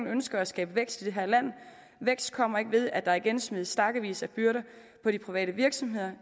ønsker at skabe vækst i det her land vækst kommer ikke ved at der igen smides stakkevis af byrder på de private virksomheder